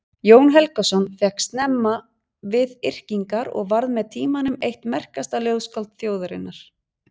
Jón Helgason fékkst snemma við yrkingar og varð með tímanum eitt merkasta ljóðskáld þjóðarinnar.